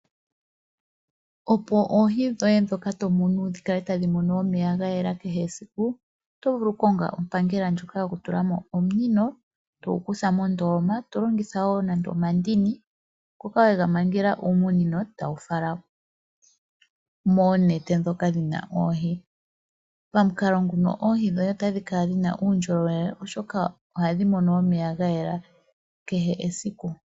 Opo oohi dhoye ndhoka to munu dhi kale tadhi mono omeya gayela kehe esiku oto vulu oku konga ompangela ndjoka yokutulamo omunino togu kutha mondoloma tolongitha wo nande omandini ngoka wega mangela uumunino tawu fala moonete ndhoka dhina oohi. Pamukalo nguno oohi dhoye otadhi kala dhina uundjolowele oshoka ohadhi mono omeya ga yela kehe esiku.